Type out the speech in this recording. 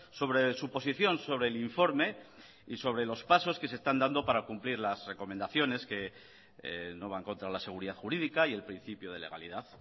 sobre su posición sobre el informe y sobre los pasos que se están dando para cumplir las recomendaciones que no van contra la seguridad jurídica y el principio de legalidad